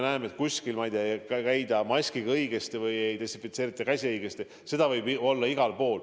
Seda, et kuskil, ma ei tea, ei kanta maski õigesti või ei desinfitseerita käsi õigesti, võib olla igal pool.